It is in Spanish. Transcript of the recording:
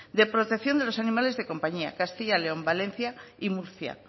de protección de los animales de compañía castilla león valencia y murcia